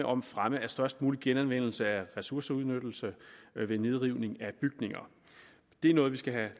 om fremme af størst mulig genanvendelse af ressourceudnyttelse ved nedrivning af bygninger det er noget vi skal have